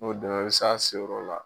N'o dɛmɛ bɛ s'a se yɔrɔ la,